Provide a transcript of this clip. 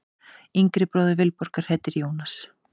Yngri bróðir Vilborgar heitir Jónas.